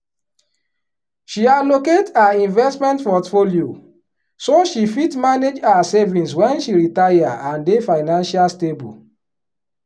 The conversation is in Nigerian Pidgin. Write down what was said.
she allocate her investment portfolio so she fit manage her savings wen she retire and dey financial stable.